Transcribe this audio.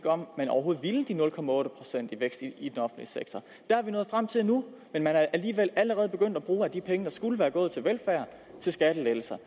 om man overhovedet ville de nul procent vækst i den offentlige sektor der er vi nået frem til nu men man er alligevel allerede begyndt at bruge de penge der skulle være gået til velfærd til skattelettelser